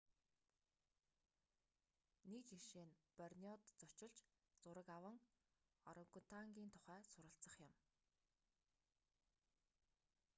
нэг жишээ нь борнеод зочилж зураг аван орангутангын тухай суралцах юм